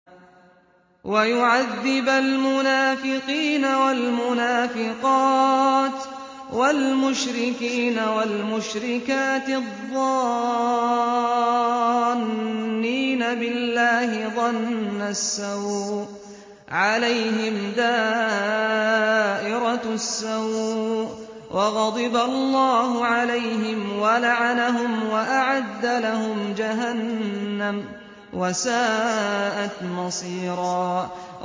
وَيُعَذِّبَ الْمُنَافِقِينَ وَالْمُنَافِقَاتِ وَالْمُشْرِكِينَ وَالْمُشْرِكَاتِ الظَّانِّينَ بِاللَّهِ ظَنَّ السَّوْءِ ۚ عَلَيْهِمْ دَائِرَةُ السَّوْءِ ۖ وَغَضِبَ اللَّهُ عَلَيْهِمْ وَلَعَنَهُمْ وَأَعَدَّ لَهُمْ جَهَنَّمَ ۖ وَسَاءَتْ مَصِيرًا